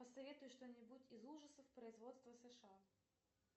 посоветуй что нибудь из ужасов производство сша